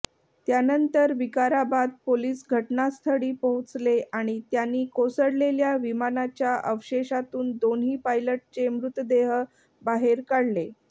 त्यानंतर विकाराबाद पोलीस घटनास्थळी पोहोचले आणि त्यांनी कोसळलेल्या विमानाच्या अवशेशातून दोन्ही पायलटचे मृतदेह बाहेर काढले